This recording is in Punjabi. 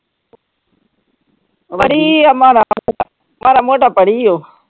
ਪੜ੍ਹੀ ਹੈ ਮਾੜਾ ਮੋਟਾ, ਮਾੜਾ ਮੋਟਾ ਪੜ੍ਹੀ ਉਹ।